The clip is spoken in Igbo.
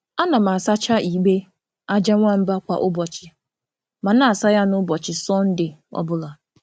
A na m asacha igbe aja nwamba kwa ụbọchị, ma na-asa ya ya n’ụbọchị Sọnde obula.